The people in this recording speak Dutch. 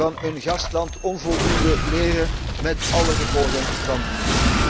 van hun gastland onvoldoende leren met alle gevolgen van dien.